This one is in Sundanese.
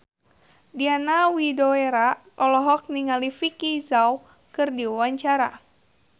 Diana Widoera olohok ningali Vicki Zao keur diwawancara